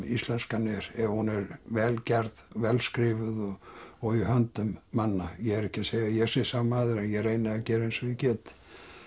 íslenskan er ef hún er vel gerð vel skrifuð og í höndum manna ég er ekki að segja að ég sé sá maður en ég reyni að gera eins og ég get